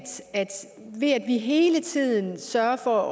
vi jeg at vi hele tiden sørger for